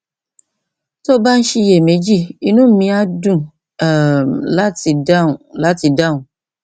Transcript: tó o bá ń ṣiyèméjì inú mi á dùn um láti dáhùn láti dáhùn